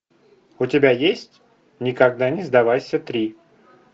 у тебя есть никогда не сдавайся три